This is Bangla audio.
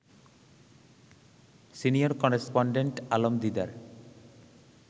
senior correspondent Alam Didar